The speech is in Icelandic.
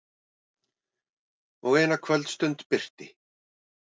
Og eina kvöldstund birti.